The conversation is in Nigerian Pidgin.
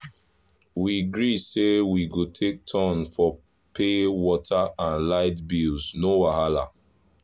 we gree say we go take turn for pay water and light bills no wahala!